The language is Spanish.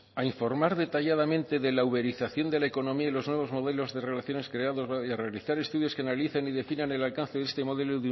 a informar detalladamente de la uberización de la economía y los nuevos modelos de relaciones creados a y realizar estudios que analicen y definan el alcance de este modelo